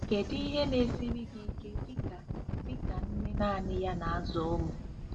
Kedu ihe na-esiri gị ike dị ka dị ka nne naanị ya na-azụ ụmụ?